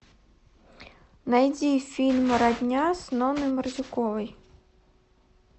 найди фильм родня с нонной мордюковой